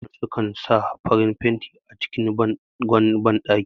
Mafiya yawancin gidajen zamani su kan sa farin fenti a jikin bangon banɗaki